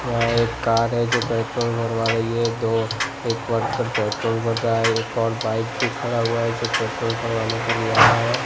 यह एक है जो पेट्रोल भरवा रही है दो एक वर्कर पेट्रोल भर रहा है एक और बाइक पे खड़ा हुआ है जो पेट्रोल भरवाने के लिए आया है।